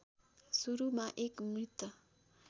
सुरूमा एक मृत